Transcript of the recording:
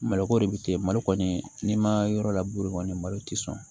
Malo ko de bi te malo kɔni n'i ma yɔrɔ la kɔni malo tɛ sɔn